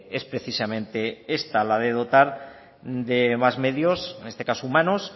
es precisamente esta la de dotar de más medios en este caso humanos